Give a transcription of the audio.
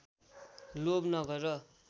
लोभ नगर